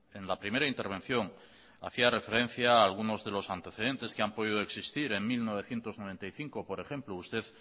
en la primera intervención hacía referencia a algunos de los antecedentes que han podido existir en mil novecientos noventa y cinco por ejemplo usted